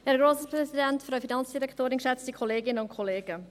Kommissionssprecherin der FiKo-Minderheit.